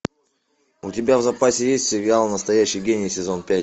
у тебя в запасе есть сериал настоящий гений сезон пять